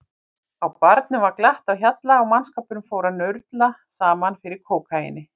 Á barnum var glatt á hjalla og mannskapurinn fór að nurla saman fyrir kókaíni.